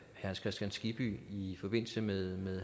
hans kristian skibby i forbindelse med